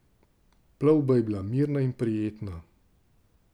Plovba je bila mirna in prijetna.